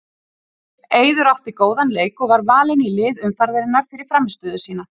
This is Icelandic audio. Eiður átti góðan leik og var valinn í lið umferðarinnar fyrir frammistöðu sína.